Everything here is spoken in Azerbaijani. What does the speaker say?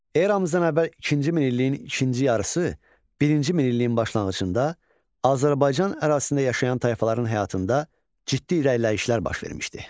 Eramızdan əvvəl ikinci min illiyin ikinci yarısı, birinci min illiyin başlanğıcında Azərbaycan ərazisində yaşayan tayfaların həyatında ciddi irəliləyişlər baş vermişdi.